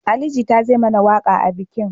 Ali Jita zai mana waƙa a bikin